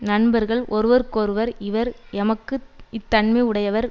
நண்பர்கள் ஒருவருக்கொருவர் இவர் எமக்கு இத்தன்மையுடைவர்